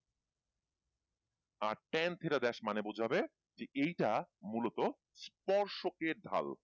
আর ten theta desh মানে বুঝবে এইটা মূলত স্পর্শ কে ঢাল